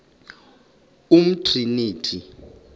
umtriniti